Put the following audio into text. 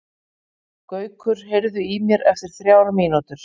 Gaukur, heyrðu í mér eftir þrjár mínútur.